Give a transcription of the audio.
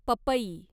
पपई